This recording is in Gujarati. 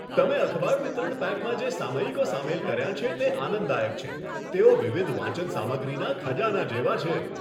તમે અખબાર વિતરણ પેકમાં જે સામયિકો સામેલ કર્યા છે તે આનંદદાયક છે. તેઓ વિવિધ વાંચન સામગ્રીનાં ખજાના જેવાં છે.